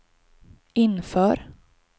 inför